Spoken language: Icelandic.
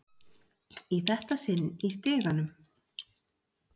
Í þetta sinn í stiganum.